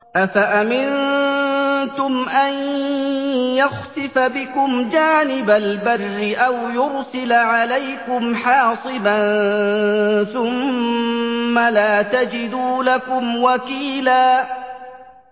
أَفَأَمِنتُمْ أَن يَخْسِفَ بِكُمْ جَانِبَ الْبَرِّ أَوْ يُرْسِلَ عَلَيْكُمْ حَاصِبًا ثُمَّ لَا تَجِدُوا لَكُمْ وَكِيلًا